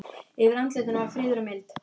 Yfir andlitinu var friður og mildi.